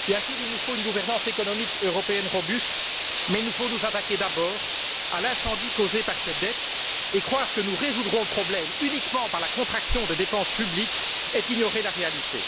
Bien sûr, il nous faut une gouvernance économique européenne robuste, mais il faut nous attaquer d'abord à l'incendie causé par cette dette, et croire que nous résoudrons le problème uniquement par la contraction des dépenses publiques est ignorer la réalité.